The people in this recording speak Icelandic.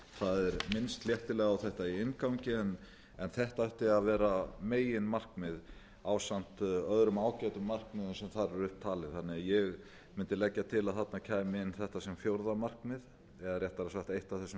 það er minnst léttilega á þetta í inngangi en þetta ætti að vera meginmarkmið ásamt öðrum ágætum markmiðum sem þar eru upp talin þannig að ég mundi leggja til að þarna kæmi inn þetta sem fjórða markmið eða réttara sagt eitt af